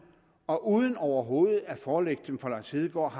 og uden overhovedet at forelægge dem for lars hedegaard